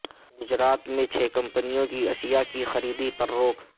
گجرات میں چھ کمپنیوں کی اشیاء کی خریدی پر روک